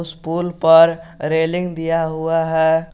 इस पोल पर रेलिंग दिया हुआ है।